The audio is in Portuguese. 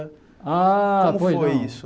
Ahh foi Como foi isso?